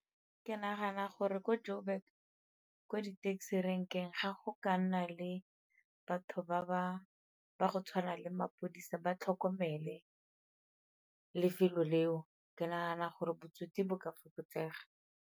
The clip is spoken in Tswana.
Ke nagana gore ko Joburg ko di-taxi rank-eng ga go ka nna le batho ba go tshwana le mapodisa ba tlhokomele lefelo leo, ke nagana gore botsotsi bo ka fokotsega.